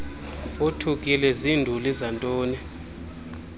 othukile zinduli zantoni